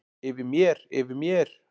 Yfir mér, yfir mér.